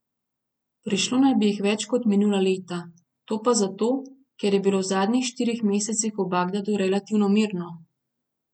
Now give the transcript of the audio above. Prišlo naj bi jih več kot minula leta, to pa zato, ker je bilo v zadnjih štirih mesecih v Bagdadu relativno mirno.